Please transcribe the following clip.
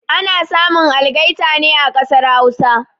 Ana samun algaita ne a kasar Hausa